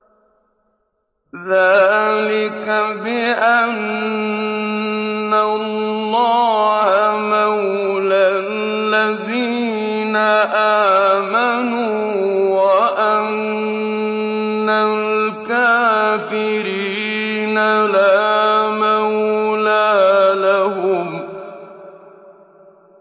ذَٰلِكَ بِأَنَّ اللَّهَ مَوْلَى الَّذِينَ آمَنُوا وَأَنَّ الْكَافِرِينَ لَا مَوْلَىٰ لَهُمْ